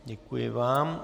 Děkuji vám.